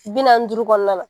Bi naani ni duuru kɔnɔna na